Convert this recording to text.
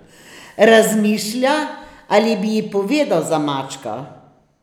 Razmišlja, ali bi ji povedal za mačka.